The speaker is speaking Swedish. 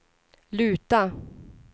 luta